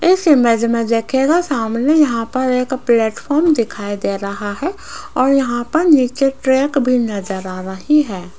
इस इमेज में देखिएगा सामने यहां पर एक प्लेटफार्म दिखाई दे रहा है और यहां पर नीचे ट्रैक भी नजर आ रही है।